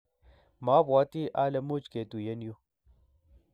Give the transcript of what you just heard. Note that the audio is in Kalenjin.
mabwatii ale much ketuyen yu.